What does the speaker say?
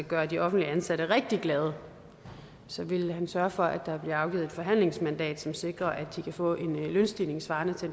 gøre de offentligt ansatte rigtig glade så vil han sørge for at der bliver afgivet et forhandlingsmandat som sikrer at de kan få en lønstigning svarende til